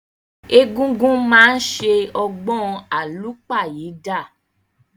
Egungun máa ni ṣe ọgbọn àlúpàyídà.